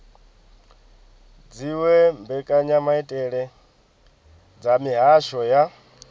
dziwe mbekanyamaitele dza mihasho ya